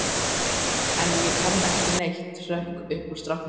En ég kann ekki neitt, hrökk upp úr stráknum.